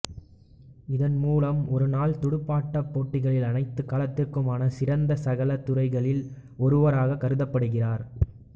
இதன் மூலம் ஒருநாள் துடுப்பாட்டப் போட்டிகளின் அனைத்துக் காலத்திற்குமான சிறந்த சகலத் துறையர்களில் ஒருவராகக் கருதப்படுகிறார்